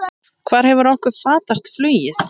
Hvar hefur okkur fatast flugið?